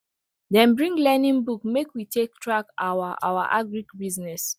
dem bring learning book make we take track our our agric business